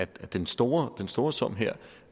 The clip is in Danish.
den store store sum her